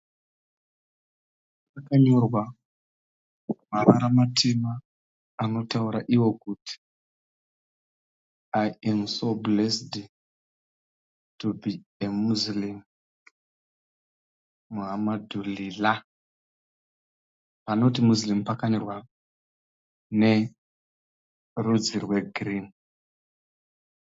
Pakanyorwa mavara matema anotaura iwo kuti "I AM SO BLESSED TO BE A Muslim Alhamdulillah!" Panoti Muslim pakanyorwa nerudzi rwegirini.